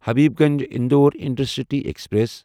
Habibganj Indore intercity express